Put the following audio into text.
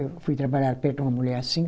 Eu fui trabalhar perto de uma mulher assim.